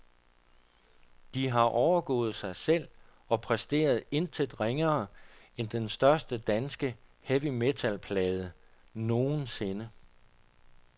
De har overgået sig selv og præsteret intet ringere end den største danske heavy metal plade nogensinde.